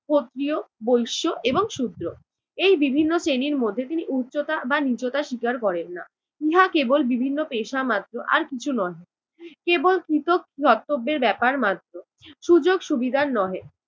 ক্ষত্রিয়, বৈশ্য এবং শুদ্র। এই বিভিন্ন শ্রেণীর মধ্যে তিনি উচ্চতা বা নীচতা স্বীকার করেন না। ইহা কেবল বিভিন্ন পেশা মাত্র আর কিছুই নহে। কেবল কৃত কর্তব্যের ব্যাপার মাত্র, সুযোগ সুবিধার নহে।